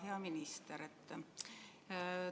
Hea minister!